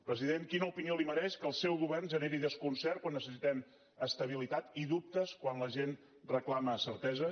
president quina opinió li mereix que el seu govern generi desconcert quan necessitem estabilitat i dubtes quan la gent reclama certeses gràcies